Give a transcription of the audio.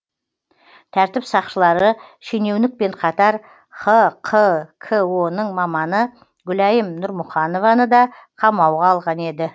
тәртіп сақшылары шенеунікпен қатар хқко ның маманы гүлайым нұрмұханованы да қамауға алған еді